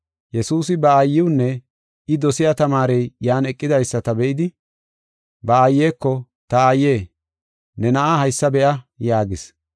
Yesuusi ba aayiwunne I dosiya tamaarey yan eqidaysata be7idi, ba aayeko, “Ta aaye, ne na7aa haysa be7a” yaagis.